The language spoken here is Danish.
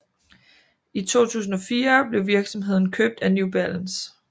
I 2004 blev virksomheden købt af New Balance